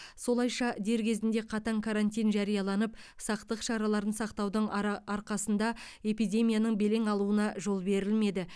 солайша дер кезінде қатаң карантин жарияланып сақтық шараларын сақтаудың ара арқасында эпидемияның белең алуына жол берілмеді